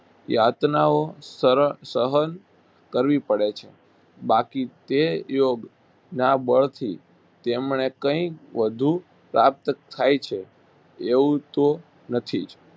યાતનાઓ સરળ સહન કરવી પડે છે. બાકી તે યોગના બળથી તેમણે કંઈક વધુ પ્રાપ્ત થાય છે એવું તો નથી જ